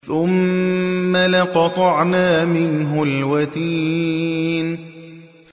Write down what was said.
ثُمَّ لَقَطَعْنَا مِنْهُ الْوَتِينَ